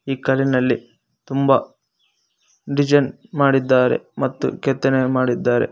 ಈ ಕಲ್ಲಿನಲ್ಲಿ ತುಂಬ ಡಿಸೈನ್ ಮಾಡಿದ್ದಾರೆ ಮತ್ತು ಕೆತ್ತನೆ ಮಾಡಿದ್ದಾರೆ.